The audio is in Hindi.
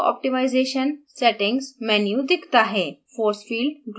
बायीं तरफ autooptimization settings menu दिखता है